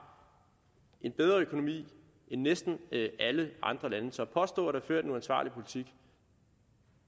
en bedre økonomi end næsten alle andre lande så at påstå at der er ført en uansvarlig politik